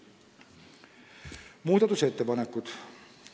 Nüüd muudatusettepanekutest.